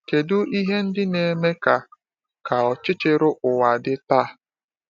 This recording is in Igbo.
Kedu ihe ndị na-eme ka ka ọchịchịrị ụwa dị taa?